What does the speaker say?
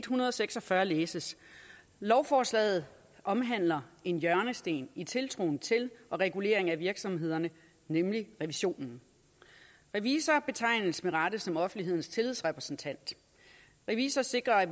hundrede og seks og fyrre læses lovforslaget omhandler en hjørnesten i tiltroen til og reguleringen af virksomhederne nemlig revisionen revisorer betegnes med rette som offentlighedens tillidsrepræsentanter revisorer sikrer at